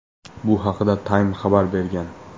Bu haqda Time xabar bergan .